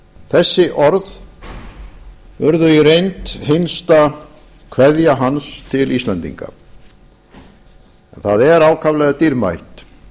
þessi orð urðu í reynd hinsta kveðja hans til íslendinga en það er ákaflega dýrmætt